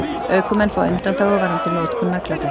Ökumenn fá undanþágu varðandi notkun nagladekkja